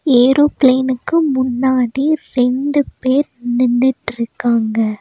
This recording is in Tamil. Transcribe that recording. ஏரோபிளேன்க்கு முன்னாடி ரெண்டு பேர் நின்னுட்டுருக்காங்க.